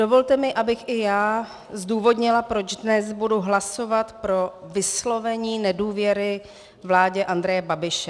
Dovolte mi, abych i já zdůvodnila, proč dnes budu hlasovat pro vyslovení nedůvěry vládě Andreje Babiše.